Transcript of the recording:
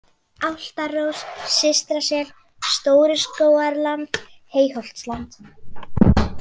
Álftárós, Systrasel, Stóru-Skógarland, Heyholtsland